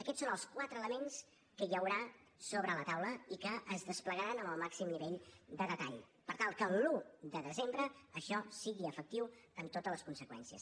aquests són els quatre elements que hi haurà sobre la taula i que es desplegaran amb el màxim nivell de detall per tal que l’un de desembre això sigui efectiu amb totes les conseqüències